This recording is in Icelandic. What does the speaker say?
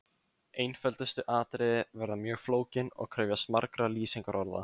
Einföldustu atriði verða mjög flókin og krefjast margra lýsingarorða.